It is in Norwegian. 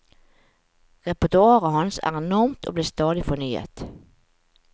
Repertoaret hans er enormt og blir stadig fornyet.